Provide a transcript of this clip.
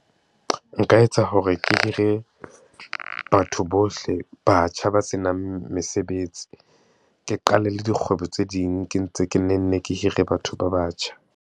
Nka etsa hore ke hire batho bohle, batjha ba senang mesebetsi, ke qale le dikgwebo tse ding ke ntse, ke ne nne ke hire batho ba batjha.